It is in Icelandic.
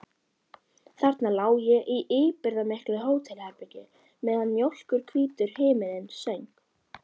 Þarna lá ég í íburðarmiklu hótelherbergi meðan mjólkurhvítur himinninn söng.